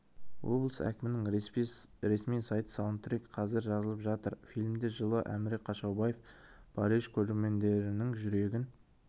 облыс әкімінің ресми сайты саундтрек қазір жазылып жатыр фильмде жылы әміре қашаубаев париж көрермендерінің жүрегін